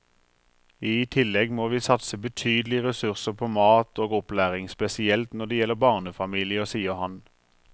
I tillegg må vi satse betydelige ressurser på mat og opplæring, spesielt når det gjelder barnefamilier, sier han.